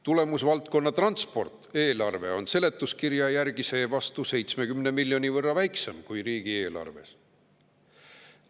Tulemusvaldkonna "Transport" eelarve on seletuskirja järgi seevastu 70 miljoni euro võrra väiksem kui riigieelarves.